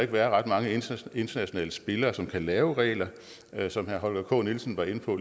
være ret mange internationale spillere som kan lave regler som herre holger k nielsen var inde på